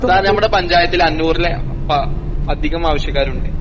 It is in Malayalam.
സാർ ഞമ്മടെ പഞ്ചായത്തിലഞ്ഞൂറിലേ പ അധികം ആവശ്യക്കാരുണ്ട്.